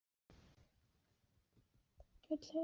Heill heimur sem þú hefur myndað í huga þér.